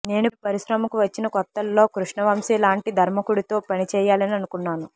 నేను పరిశ్రమకు వచ్చిన కొత్తల్లో కృష్ణవంశీ లాంటి దర్శకుడితో పనిచేయాలని అనుకున్నాను